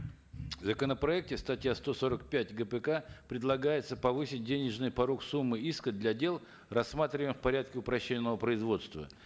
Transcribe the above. в законопроекте статья сто сорок пять гпк предлагается повысить денежный порог суммы иска для дел рассматриваемых в порядке упрощенного производства